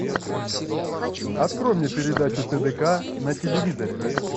открой мне передачу тдк на телевизоре